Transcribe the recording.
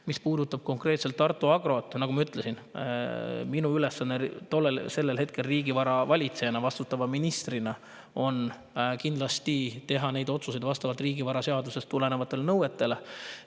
Mis puudutab konkreetselt Tartu Agrot, siis nagu ma ütlesin, minu ülesanne riigivara valitsejana, vastutava ministrina, on hetkel teha neid otsuseid kindlasti vastavalt riigivaraseaduse nõuetele.